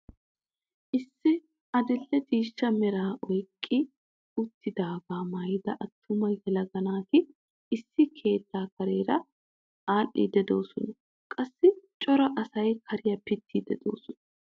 Issi adil'e ciishsha meraa oyqqi uttidagaa maayida attuma yelaga naati issi keettaa kareera adhiidi de'oosona. qassi cora asay kariyaa pittiidi de'oosona.